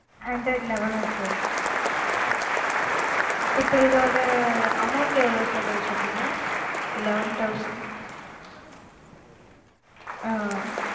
android eleven ஆஹ் sir இப்போ இதோட amount எவ்ளோ sir சொன்னிங்க eleven thousand ஆஹ்